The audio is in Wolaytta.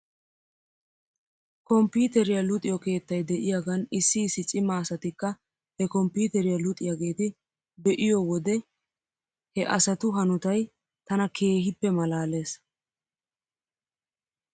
Kompiiteriyaa luxiyoo keettay de'iyaagan issi issi cima asatikka he kompiiteriyaa luxiyaageeti be'iyoo wode he asatu hanotay tana keehippe malaales .